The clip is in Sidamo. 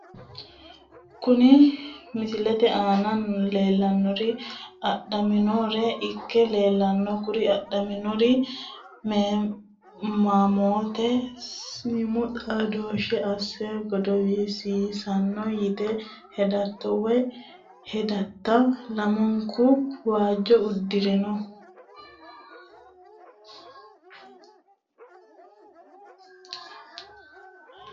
Kuri misilete aana lelanori adhaminore ikke leelano kuri adhaminori mamoote siimu xaadoshe ase godowisiisino yite hedato woyi hedata lamunku waajo udirino.